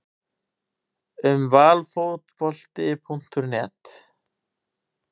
Um Valfotbolti.net